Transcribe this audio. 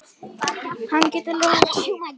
Hann getur lofað því.